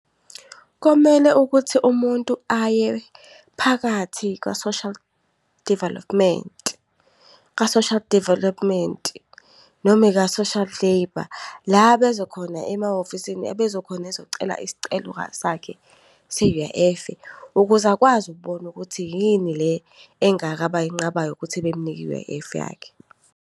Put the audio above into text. Komele ukuthi umuntu aye phakathi kwa-Social Development, ka-Social Development, noma ika-Social Labour, la bezokhona emahhovisini bezokhona ezocela isicelo sakhe se-U_I_F. Ukuze akwazi ukubona ukuthi yini le engaka abayinqabayo ukuthi bemnike i-U_I_F yakhe.